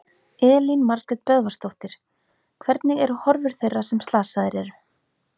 Elín Margrét Böðvarsdóttir: Hvernig eru horfur þeirra sem að slasaðir eru?